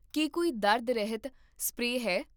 ਕੀ ਕੋਈ ਦਰਦ ਰਹਿਤ ਸਪਰੇਅ ਹੈ?